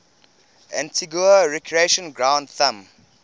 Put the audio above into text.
antigua recreation ground thumb